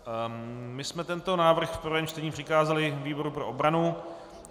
My jsme tento návrh v prvém čtení přikázali výboru pro obranu.